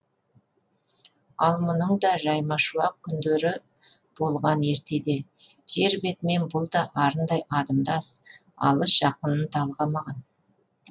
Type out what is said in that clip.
ал мұның да жаймашуақ күндері болған ертеде жер бетімен бұл да арындай адымдап алыс жақынын талғамаған